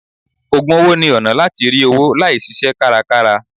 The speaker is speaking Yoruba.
Ògùn owó ni ọ̀nà láti rí owó láì ṣiṣẹ́ kárakára.